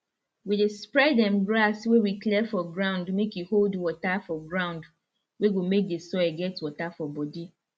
we dey spread them grass wey we clear for ground make e hold water for ground wey go make the soil get water for body